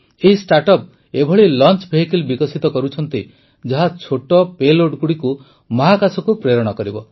ଏହି ଷ୍ଟାର୍ଟଅପ୍ ଏଭଳି launch vehicle ବିକଶିତ କରୁଛନ୍ତି ଯାହା ଛୋଟ ପେଲୋଡ ଗୁଡ଼ିକୁ ମହାକାଶକୁ ପ୍ରେରଣ କରିବ